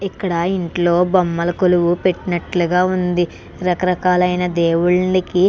ఇక్కడ ఇంట్లో బొమ్మల కొలువు పెట్టినట్టు వుంది. రకరకాల దేవుళ్ళుకి --